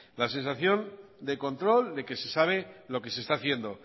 la sensación de control de que se sabe lo que se está haciendo